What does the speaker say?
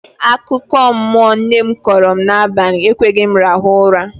Akụkọmmụọ nne kọọrọ m n'abalị ekweghị m rahụ ụra